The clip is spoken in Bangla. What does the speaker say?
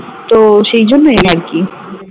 তো সেই জন্যই আরকি